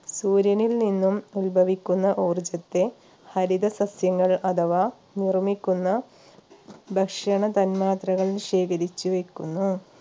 സൂര്യനിൽ നിന്നും ഉത്ഭവിക്കുന്ന ഊർജ്ജത്തെ ഹരിത സസ്യങ്ങൾ അഥവാ നിർമ്മിക്കുന്ന ഭക്ഷണ തന്മാത്രകൾ ശേഖരിച്ചു വെക്കുന്നു